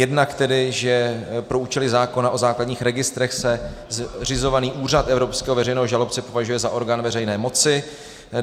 Jednak tedy, že pro účely zákona o základních registrech se zřizovaný Úřad evropského veřejného žalobce považuje za orgán veřejné moci.